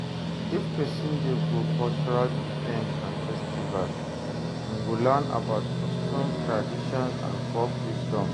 If persin de go cultural events and festivals im go learn about customs traditions and folk wisdom